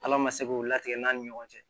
Ala ma se k'o latigɛ an ni ɲɔgɔn cɛ